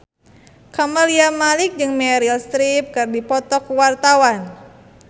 Camelia Malik jeung Meryl Streep keur dipoto ku wartawan